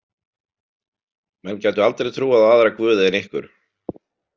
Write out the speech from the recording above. Menn gætu aldrei trúað á aðra guði en ykkur